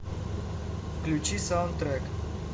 включи саундтрэк